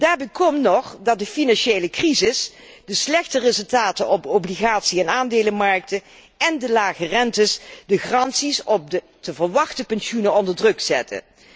Daarbij komt nog dat de financiële crisis, de slechte resultaten op obligatie en aandelenmarkten en de lage rentes de garanties op de te verwachten pensioenen onder druk zetten.